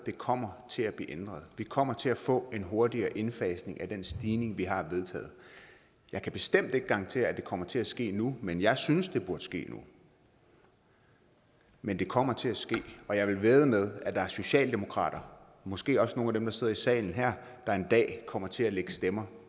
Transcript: kommer til at blive ændret vi kommer til at få en hurtigere indfasning af den stigning vi har vedtaget jeg kan bestemt ikke garantere at det kommer til at ske nu men jeg synes at det burde ske nu men det kommer til at ske og jeg vil vædde med at der er socialdemokrater måske også nogle af dem der sidder i salen der en dag kommer til at lægge stemmer